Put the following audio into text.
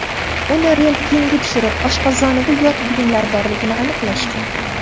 Uni rentgenga tushirib, oshqozonida yot buyumlar borligini aniqlashgan.